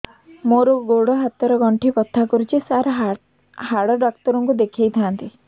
ମୋର ଗୋଡ ହାତ ର ଗଣ୍ଠି ବଥା କରୁଛି ସାର ହାଡ଼ ଡାକ୍ତର ଙ୍କୁ ଦେଖାଇ ଥାନ୍ତି